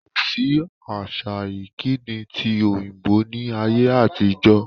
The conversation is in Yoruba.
Kòsí àṣà ìkíni tí òyìnbó ni ayé àtijọ́